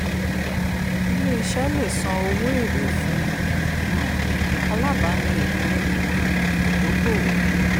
ilé iṣẹ́ lè san owó èrè fún um alábàání ìpín um ìdókòòwò.